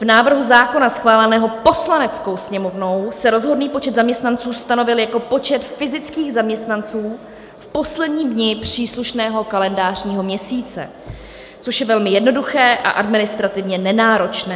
V návrhu zákona schváleném Poslaneckou sněmovnou se rozhodný počet zaměstnanců stanovil jako počet fyzických zaměstnanců v posledním dni příslušného kalendářního měsíce, což je velmi jednoduché a administrativně nenáročné.